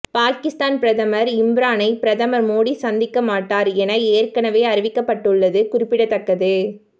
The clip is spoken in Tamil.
பாகிஸ்தான் பிரதமர் இம்ரானை பிரதமர் மோடி சந்திக்க மாட்டார் என ஏற்கனவே அறிவிக்கப்பட்டுள்ளது குறிப்பிடத்தக்கது